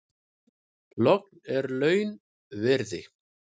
Logn er launviðri.